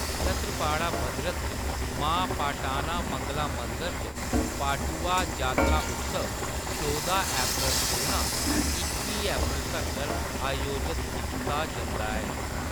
छत्रपाड़ा, भद्रक च मां पाटाना मंगला मंदर च, पाटुआ जातरा उत्सव चौह्दां अप्रैल कोला इक्की अप्रैल तक्कर आयोजत कीता जंदा ऐ।